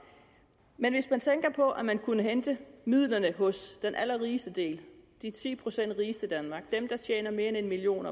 men hvis man tænker på at vi kunne hente midlerne hos den allerrigeste del de ti procent rigeste i danmark dem der tjener mere end en million